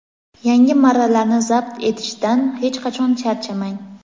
yangi marralarni zabt etishdan hech qachon charchamang!.